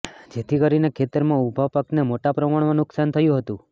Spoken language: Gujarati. જેથી કરીને ખેતરમાં ઉભા પાકને મોટા પ્રમાણમાં નુકસાન થયું હતું